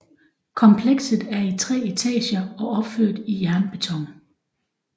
Komplekset er i 3 etager og opført i jernbeton